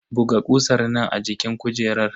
Buga kusan nan a jikin kujerar.